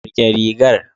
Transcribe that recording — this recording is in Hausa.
Rike rigar.